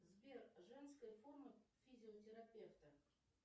сбер женская форма физиотерапевта